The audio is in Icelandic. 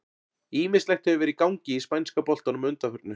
Ýmislegt hefur verið í gangi í spænska boltanum að undanförnu.